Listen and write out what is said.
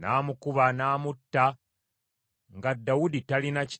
n’amukuba n’amutta nga Dawudi talina kitala ky’akutte.